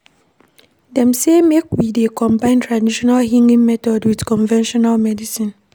Dem sey make we dey combine tradional healing method wit conventional medicine.